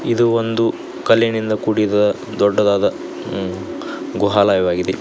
ಇದು ಒಂದು ಕಲ್ಲಿನಿಂದ ಕೂಡಿದ ದೊಡ್ಡದಾದ ಹು ಗುಹಾಲಯವಾಗಿದೆ.